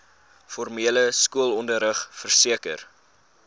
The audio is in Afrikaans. formele skoolonderrig verseker